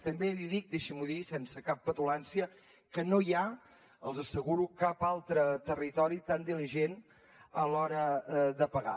també li dic deixi m’ho dir sense cap petulància que no hi ha els ho asseguro cap altre territori tan diligent a l’hora de pagar